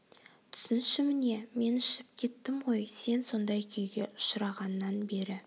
түсінші міне мен ішіп кеттім ғой сен сондай күйге ұшырағаннан бері